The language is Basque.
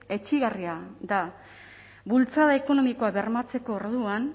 etsigarria da bultzada ekonomikoa bermatzeko orduan